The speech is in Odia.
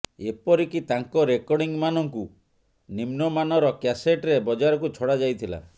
ଏପରିକି ତାଙ୍କ ରେକର୍ଡ଼ିଂମାନଙ୍କୁ ନିମ୍ନମାନର କ୍ୟାସେଟରେ ବଜାରକୁ ଛଡ଼ା ଯାଇଥିଲା